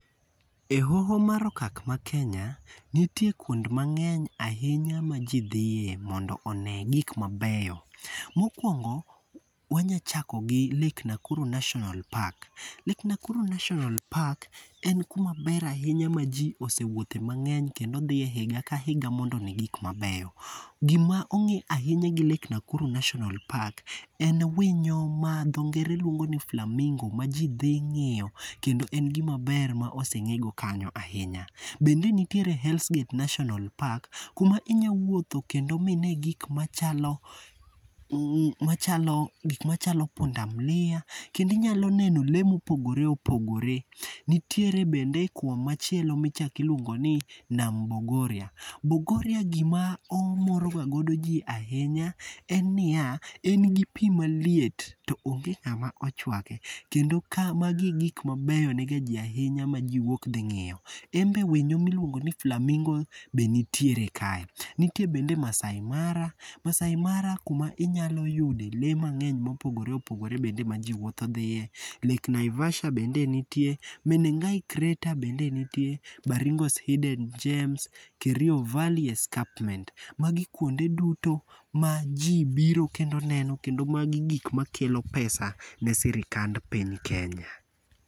Ehoho mar okak ma Kenya, nitie kuonde mang'eny ahinya maji dhiye mondo one gik mabeyo. Mokuongo wanyalo chako gi Lake Nakuru National Park. Lake Nakuru National Park en kuma ber ahinya maji osewuothe mang'eny kendo dhiye higa ka higa mondo one gik mabeyo. Gima ong'e ahinya gi Lake Nakuru National Park en winyo ma dho ngere luongo ni flamingo maji dhi ng'iyo kendo en gima ber ma oseng'ego kanyo ahinya. Bende nitiere Hells Gate National Park, kuma inyalo wuothe kendomine gik machalo machalo gik machalo punda mulia kendo inyalo neno lee mopogore opogore nitiere bende kumachielo ma ichako iluongo ni Bogoria. Bogoria gima omoroga godo ji ahinya en niya, en gi pi maliet to onge ng'ama ochuake kendo kama gigik mabeyo nie ji ahinya maji m´wuok dhi ng'iyo. En bende winyo miluongo ni flamingo be nitiere kae. Nitiere bende Maasai Mara. Maasai Mara kuma nitiere inyalo yude lee mang'eny mopogore opogore bende maji wuotho dhiye. Lake Naivasha bende nitie , Menengai Crater bende nitie, Baringo Hidden Jems, Kerio Valley Escarpment. Magi kuonde duto maji biro kendo neno, magi gik makelo pesa ne sirikand piny Kenya.